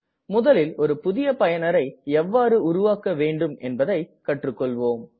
முதலில் ஒரு புதிய பயனர் எவ்வாறு உருவாக்க வேண்டும் என்பதை கற்று கொள்வோம்